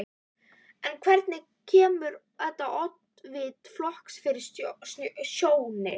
En hvernig kemur þetta oddvita flokksins fyrir sjónir?